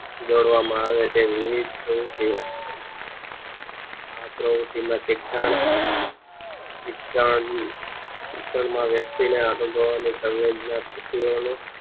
જોડવા માં આવે છે વિવિધ પ્રવૃત્તિઓ આ પ્રવુંતીયો શિક્ષણ શિક્ષણ વ્યક્તિઓને અનુભવના સંવેદના સામેથી